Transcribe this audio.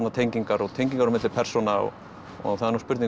tengingar og tengingar á milli persóna og það er nú spurning